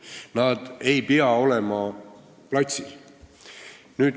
Nad ei pea olema platsil.